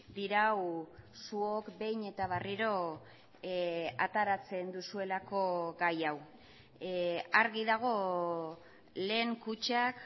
dirau zuok behin eta berriro ateratzen duzuelako gai hau argi dago lehen kutxak